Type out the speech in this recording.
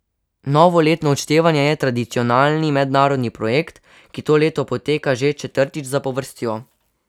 Novoletno odštevanje je tradicionalni mednarodni projekt, ki to leto poteka že četrtič zapovrstjo.